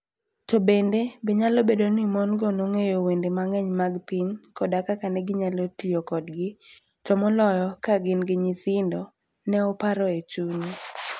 To bende, be nyalo bedo ni mon - go nong'eyo wende mang'eny mag piny koda kaka ne ginyalo tiyo kodgi, to moloyo ka gin gi nyithindo? Ne oparo e chunye.